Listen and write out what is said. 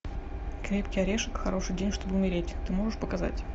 крепкий орешек хороший день чтобы умереть ты можешь показать